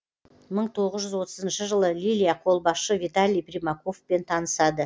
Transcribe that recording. мың тоғыз жүз отызыншы жылы лилия қолбасшы виталий примаковпен танысады